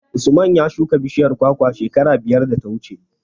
Usman ya shuka bishiyar kwakwa shekara biyar da ta wuce.